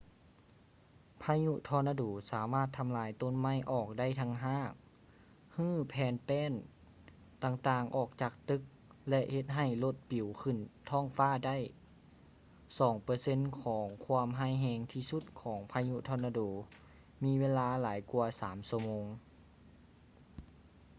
ພາຍຸທໍນາໂດສາມາດທຳລາຍຕົ້ນໄມ້ອອກໄດ້ທັງຮາກ ຮື້ແຜ່ນແປ້ນຕ່າງໆອອກຈາກຕຶກ ແລະ ເຮັດໃຫ້ລົດປິວຂື້ນທ້ອງຟ້າໄດ້ ສອງເປີເຊັນຂອງຄວາມຮ້າຍແຮງທີ່ສຸດຂອງພາຍຸທໍນາໂດມີເວລາຫຼາຍກວ່າສາມຊົ່ວໂມງ